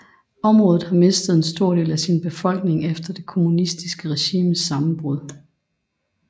Området har mistet en stor del af sin befolkning efter det kommunistiske regimes sammenbrud